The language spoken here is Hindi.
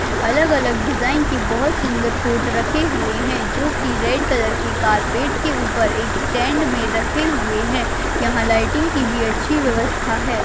अलग अलग डिजाइन की बहुत सुंदर कोट रखे हुए है जो की रेड कलर के कार्पेट के ऊपर एक स्टैण्ड मे रखे हुए है यहाँ लाइटिंग की भी अच्छी व्यवस्था है।